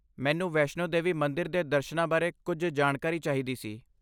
ਮੈਨੂੰ ਵੈਸ਼ਨੋ ਦੇਵੀ ਮੰਦਿਰ ਦੇ ਦਰਸ਼ਨਾਂ ਬਾਰੇ ਕੁਝ ਜਾਣਕਾਰੀ ਚਾਹੀਦੀ ਸੀ।